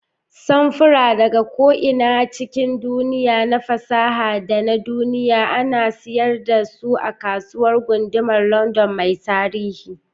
Samfura daga ko'ina cikin duniya, na fasaha da na duniya, ana siyar da su a Kasuwar Gundumar London mai tarihi.